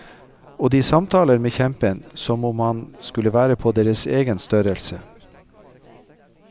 Og de samtaler med kjempen som om han skulle være på deres egen størrelse.